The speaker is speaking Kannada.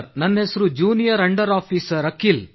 ನನ್ನ ಹೆಸರು ಜೂನಿಯರ್ ಅಂಡರ್ ಆಫೀಸರ್ ಅಖಿಲ್